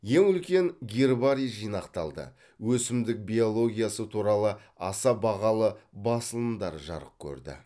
ең үлкен гербарий жинақталды өсімдік биологиясы туралы аса бағалы басылымдар жарық көрді